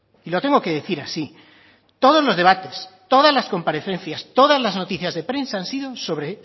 y lo tengo que decir así todos los debates todas las comparecencias todas las noticias de prensa han sido sobre